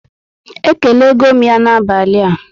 E kelego m ya na abalị a